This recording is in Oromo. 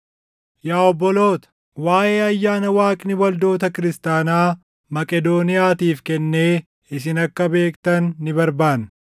Yaa obboloota, waaʼee ayyaana Waaqni waldoota kiristaanaa Maqedooniyaatiif kennee isin akka beektan ni barbaanna.